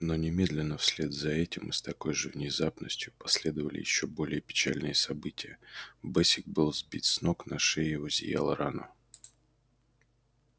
но немедленно вслед за этим и с такой же внезапностью последовали ещё более печальные события бэсик был сбит с ног на шее его зияла рана